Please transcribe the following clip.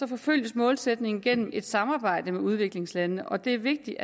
forfølges målsætningen gennem et samarbejde med udviklingslandene og det er vigtigt